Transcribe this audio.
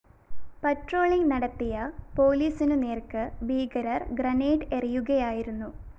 patrolling നടത്തിയ പോലീസിനു നേര്‍ക്ക് ഭീകരർ ഗ്രനേഡ്‌ എറിയുകയായിരുന്നു